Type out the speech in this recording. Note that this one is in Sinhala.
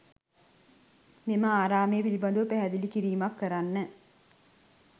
මෙම ආරාමය පිළිබඳව පැහැදිලි කිරීමක් කරන්න.